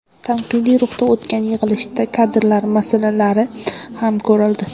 Tanqidiy ruhda o‘tgan yig‘ilishda kadrlar masalalari ham ko‘rildi.